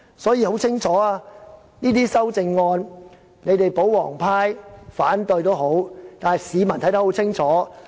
所以，對於這些修正案，即使保皇黨要反對，但市民看得很清楚，一定要贊成。